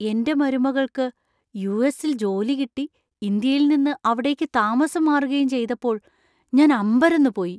എന്‍റെ മരുമകൾക്ക് യു.എസ്.ൽ ജോലി കിട്ടി ഇന്ത്യയിൽ നിന്ന് അവിടേക്ക് താമസം മാറുകയും ചെയ്തപ്പോൾ ഞാൻ അമ്പരന്നുപോയി.